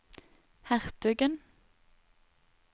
hertugen